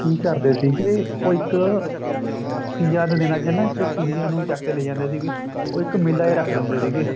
ਕੀ ਕਰਦੇ ਸੀਗੇ ਉਹ ਇੱਕ ਤੀਆਂ ਦੇ ਦਿਨਾਂ ਚ ਨਾ ਇੱਕ ਕੁੜੀਆ ਨੂੰ ਚੱਕ ਕੇ ਲੈ ਜਾਂਦੇ ਸੀਗੇ ਉਹ ਇੱਕ ਮੇਲਾ ਰੱਖਦੇ ਹੁੰਦੇ ਸੀਗੇ